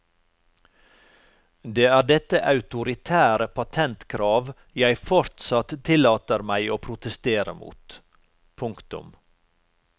Det er dette autoritære patentkrav jeg fortsatt tillater meg å protestere mot. punktum